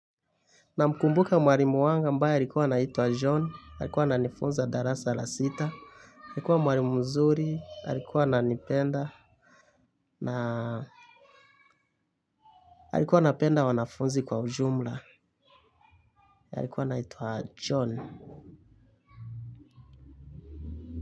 Namkumbuka mwalimu wangu ambaye alikuwa anaitwa John, alikuwa ananifunza darasa la sita, alikuwa mwalimu mzuri, alikuwa ananipenda, na yalikuwa napenda wanafunzi kwa ujumla, yalikuwa naituwa John.